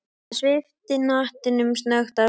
Hann svipti hattinum snöggt af sér.